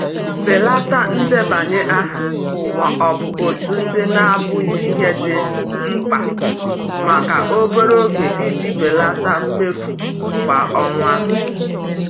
Belata ndebanye aha ma ọ bụ òtù ndị na-abụghị ihe dị mkpa maka obere oge iji belata mmefu kwa ọnwa.